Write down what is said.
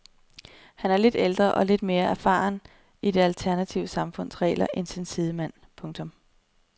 Han er lidt ældre og lidt mere befaren i det alternative samfunds regler end sin sidemand. punktum